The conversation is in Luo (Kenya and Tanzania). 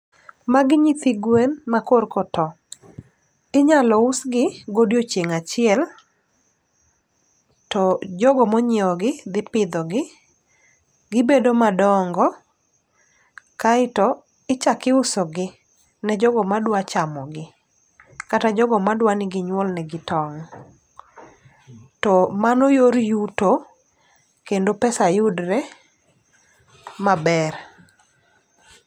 Magi nyithi gwen ma korko to, inyalo us gi godiochieng' achiel. To jogo monyiewo gi dhi pidho gi, gibedo madongo kaeto ichak iuso gi ne jogo madwa chamo gi. Kata jogo madwani ginyuol negi tong', to mano yor yuto kendo pesa yudre maber.